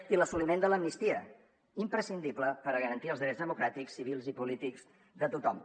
i l’assoliment de l’amnistia imprescindible per a garantir els drets democràtics civils i polítics de tothom